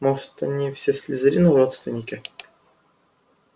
может они все слизерину родственники